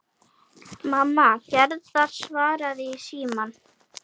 Mamma Gerðar svaraði í símann.